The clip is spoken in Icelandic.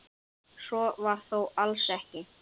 Svo var þó alls ekki.